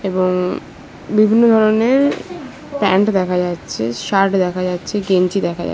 এবং-- বিভিন্ন ধরনের প্যান্ট দেখা যাচ্ছে শার্ট দেখা যাচ্ছে গেঞ্জি দেখা যাচ্ছে।